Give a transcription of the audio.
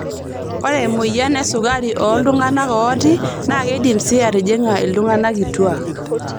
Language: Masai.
oree emoyian esukari ooltunganak ooti naa keidim sii atijinga iltunganak kituak.